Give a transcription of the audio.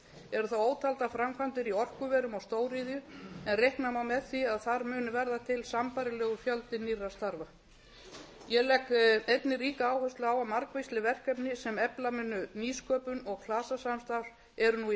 eru þá ótaldar framkvæmdir í orkuverum og stóriðju en reikna má með því að þar muni verða til sambærilegur fjöldi nýrra starfa ég legg einnig ríka áherslu á að margvísleg verkefni sem efla munu nýsköpun og klasasamstarf eru nú í